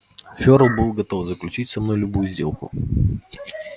фёрл был готов заключить со мной любую сделку